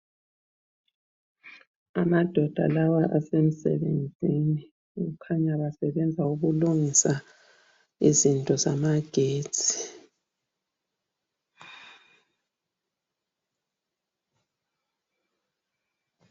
Amadoda lawa asemsebenzini .kukhanya basebenza ukulungisa izinto zamagetsi.